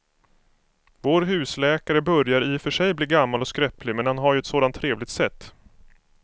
Vår husläkare börjar i och för sig bli gammal och skröplig, men han har ju ett sådant trevligt sätt!